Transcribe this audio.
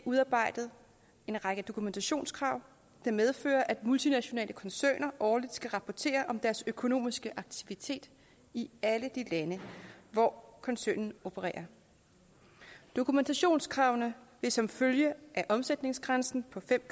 udarbejdet en række dokumentationskrav der medfører at multinationale koncerner årligt skal rapportere om deres økonomiske aktivitet i alle de lande hvor koncernen opererer dokumentationskravene vil som følge af omsætningsgrænsen på fem